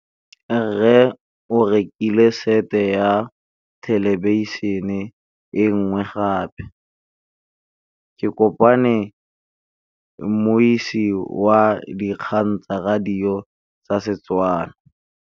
Rre o rekile sete ya thêlêbišênê e nngwe gape. Ke kopane mmuisi w dikgang tsa radio tsa Setswana.